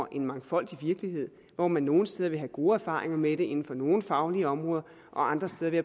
en mangfoldig virkelighed hvor man nogle steder vil have gode erfaringer med det inden for nogle faglige områder og andre steder vil